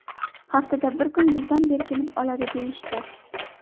Haftada bir kun bizdan berkinib oladi, – deyishdi.